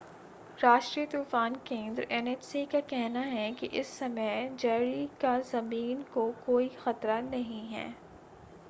राष्ट्रीय तूफ़ान केंद्र एनएचसी का कहना है कि इस समय जैरी का ज़मीन को कोई खतरा नहीं है।